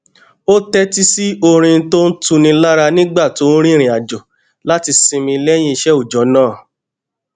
ó tétí sí orin tó ń tuni lára nígbà tó ń rìnrìnàjò láti sinmi léyìn iṣé ọjó náà